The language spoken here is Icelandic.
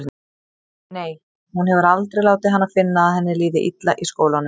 Nei, hún hefur aldrei látið hana finna að henni líði illa í skólanum.